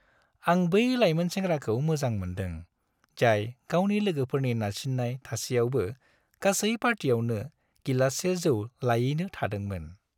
आं बै लायमोन सेंग्राखौ मोजां मोन्दों जाय गावनि लोगोफोरनि नारसिन्नाय थासेयावबो गासै पार्टियावनो गिलाससे जौ लायैनो थादोंमोन।